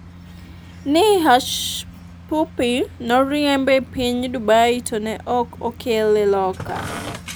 ni Hushpuppi noriemb e piny Dubai to ne ok okele loka